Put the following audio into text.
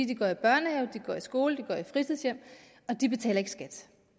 de går i børnehave de går i skole de går i fritidshjem og de betaler ikke skat